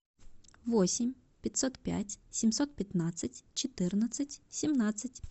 восемь пятьсот пять семьсот пятнадцать четырнадцать семнадцать